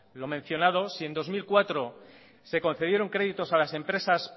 lo mencionado si en dos mil cuatro se concedieron créditos a las empresas